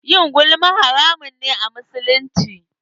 Yin gulma haramun ne a musulunci.